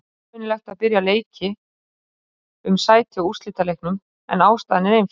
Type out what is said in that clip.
Óvenjulegt að byrja leiki um sæti á úrslitaleiknum, en ástæðan er einföld.